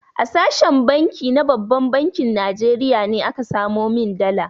A sashen canji na babban bankin Najeriya ne aka samo min dala.